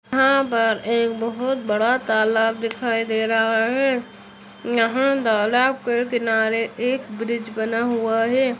यहाँ पर एक बहुत बड़ा तालाब दिखाई दे रहा है। यहाँ तालाब के किनारे एक ब्रिज बना हुआ है।